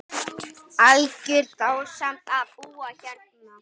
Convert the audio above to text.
Algjör dásemd að búa hérna.